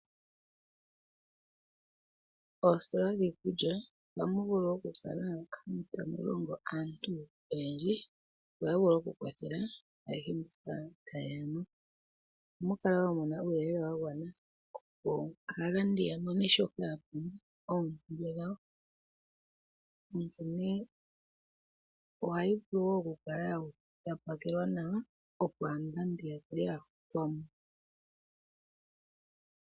Oositola dhiikulya ohamu vulu okukala tamu longo aantu oyendji, opo ya vule oku kwathela ayehe mboka tayeyamo. Ohamu kala muna uuyelele wagwana, opo aalandi yamone oompumbwe dhawo onkene iinima oyina okukala yalongelwa nawa.